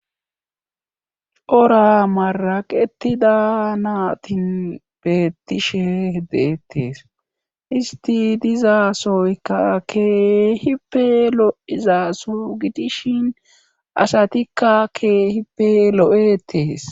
ora maraqetida naatin beettishe deettees isti dizaasooykka kehipe lo7izaaso gidishin asatikka kee hipe lo7etees